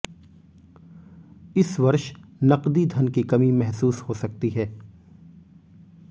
इस वर्ष नकदी धन की कमी महसूस हो सकती है